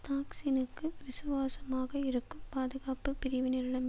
தாக்சினுக்கு விசுவாசமாக இருக்கும் பாதுகாப்பு பிரிவினரிடம்